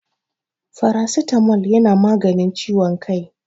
faracitamol yana maganin ciwon kai